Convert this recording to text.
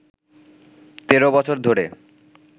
তেরো বছর ধরে